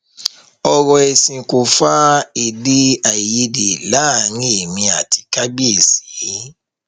ọrọ ẹsìn kò fa èdèàìyedè láàrin èmi àti kábíésì